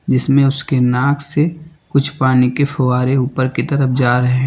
जिसमें उसके नाक से कुछ पानी के फव्वारे ऊपर की तरफ जा रहे हैं।